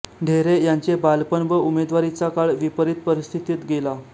ढेरे यांचे बालपण व उमेदवारीचा काळ विपरीत परिस्थितीत गेला